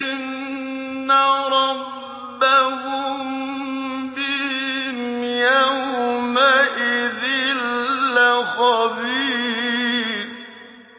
إِنَّ رَبَّهُم بِهِمْ يَوْمَئِذٍ لَّخَبِيرٌ